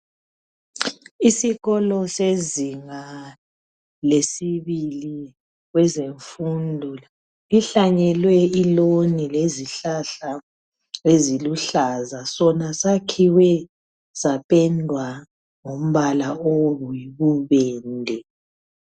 Isikolo sezinga lesibili kwezemfundo kuhlanyelwe iloni lezihlahla eziluhlaza. Sona sakhiwe sapendwa ngombala oyibubende.